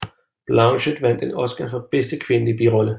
Blanchett vandt en Oscar for bedste kvindelige birolle